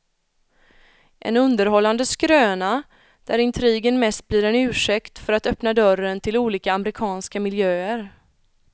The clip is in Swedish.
En underhållande skröna, där intrigen mest blir en ursäkt för att öppna dörren till olika amerikanska miljöer.